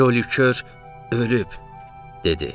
Joli Kör ölüb, dedi.